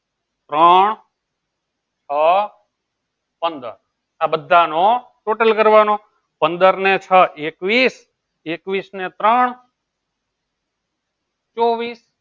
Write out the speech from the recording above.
ત્રણ છ પંદર આ બધાનો total કરવાનો પંદર ને છ એકવીસ અને ત્રણ ચોવિસ.